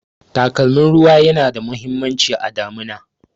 Takalmin ruwa yana da muhimmanci a damuna